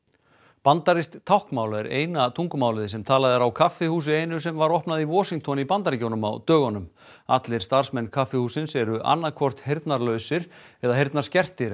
bandarískt táknmál er eina tungumálið sem talað er á kaffihúsi einu sem var opnað í Washington í Bandaríkjunum á dögunum allir starfsmenn kaffihússins eru annaðhvort heyrnarlausir eða heyrnarskertir en